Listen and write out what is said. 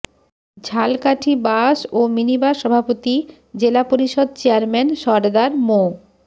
Jhalakathi bus ও minibus সভাপতি জেলা পরিষদ চেয়ারম্যান সরদার মো